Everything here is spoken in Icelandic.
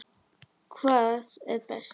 Hvað er best?